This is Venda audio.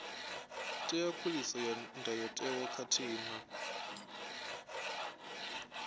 ṅea khuliso ndayotewa khathihi na